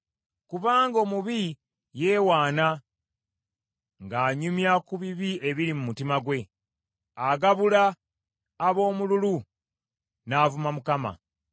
Kubanga omubi yeewaana ng’anyumya ku bibi ebiri mu mutima gwe, agabula aboomululu n’avuma Mukama .